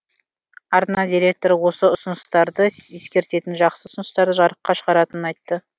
арна директоры осы ұсыныстарды ескеретінін жақсы ұсыныстарды жарыққа шығаратынын айтты